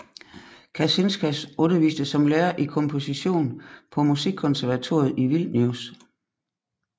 Kacinskas underviste som lærer i komposition på Musikkonservatoriet i Vilnius